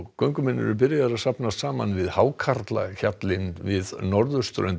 göngumenn þegar byrjaðir að safnast saman við hákarlahjallinn við norðurströnd